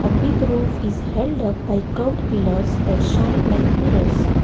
Big roof is held up by crowd pillars that shine like mirrors